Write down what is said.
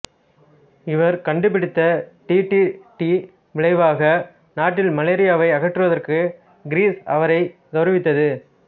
இவர் கண்டுபிடித்த் டிடிடீ விளைவாக நாட்டில் மலேரியாவை அகற்றுவதற்காக கிரீஸ் அவரை கெளரவித்தது